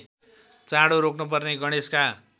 चाँडो रोक्नुपर्ने गणेशका